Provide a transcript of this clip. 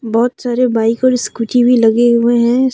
बहुत सारे बाइक और स्कूटी भी लगे हुए हैं।